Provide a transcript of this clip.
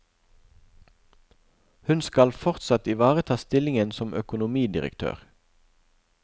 Hun skal fortsatt ivareta stillingen som økonomidirektør.